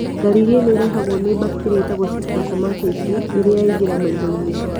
Ndariri ĩno ĩrehagũo nĩ bacteria ĩtagũo C. trachomatis rĩrĩa ya ingĩra maithoinĩ